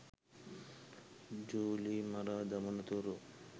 ජුලි මරා දමන තුරු.